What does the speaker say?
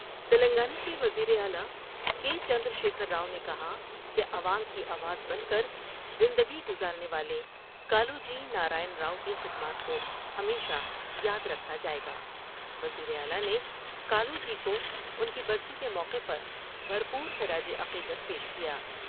تلنگانہ کے وزیراعلی کے چندر شیکھر راؤ نے کہا کہ عوام کی آواز بن کر زندگی گذارنے والے کالوجی نارائن راؤ کی خدمات کو ہمیشہ یا درکھا جائے گا ۔ وزیر اعلیٰ نے کالوجی کو ان کی برسی کے موقع پر بھر پور خراج عقیدت پیش کیا